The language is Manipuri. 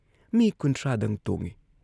ꯃꯤ ꯀꯨꯟꯊ꯭ꯔꯥ ꯗꯪ ꯇꯣꯡꯏ ꯫